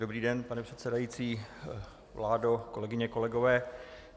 Dobrý den, pane předsedající, vládo, kolegyně, kolegové.